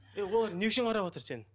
е олар не үшін қараватыр сені